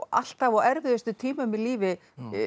alltaf á erfiðustu tímum í lífi